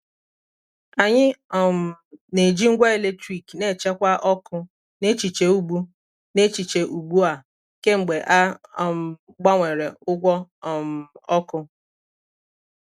anyị um na-eji ngwa eletrik na-echekwa ọkụ n’echiche ugbu n’echiche ugbu a kemgbe a um gbanwere ụgwọ um ọkụ.